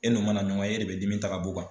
E n'u mana ɲɔgɔn ye e de bɛ dimi ta ka b'u kan.